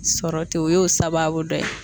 Sɔrɔ ten o y'o sababu dɔ ye.